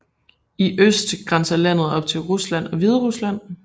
I øst grænser landet op til Rusland og Hviderusland